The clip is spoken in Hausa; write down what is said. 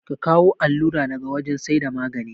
Ka kawu allura daga wajan saida magane